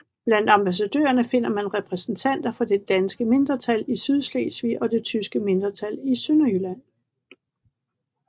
Blandt ambassadørerne finder man repræsentanter for det danske mindretal i Sydslesvig og det tyske mindretal i Sønderjylland